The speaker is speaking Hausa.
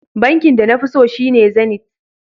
Bankin da nafi so shine Zenith.